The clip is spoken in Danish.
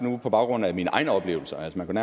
på baggrund af mine egne oplevelser man kan